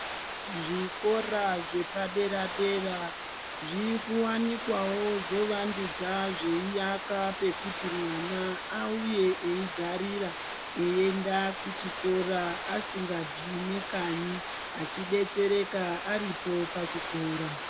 Zvikora zvepadera-dera zviri kuwanikwawo zvovandudza zveiaka pekuti mwana auye eigarira eienda kuchikora asingabvi nekanyi ,achidetsereka aripo pachikora .